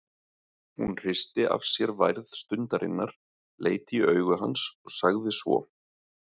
Hún hristi af sér værð stundarinnar, leit í augu hans og sagði svo